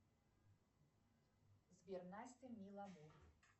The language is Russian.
сбер настя миламур